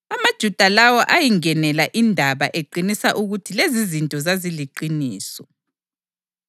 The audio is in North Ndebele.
AmaJuda lawo ayingenela indaba eqinisa ukuthi lezizinto zaziliqiniso.